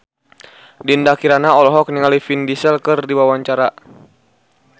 Dinda Kirana olohok ningali Vin Diesel keur diwawancara